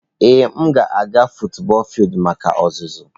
Ee m ga-aga futubọọl fildu maka ọzụzụ.